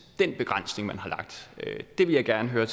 det vil jeg gerne høre